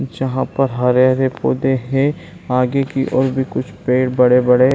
जहाँ पर हरे-हरे पौधे हैं आगे की ओर भी कुछ पेड़ बड़े-बड़े --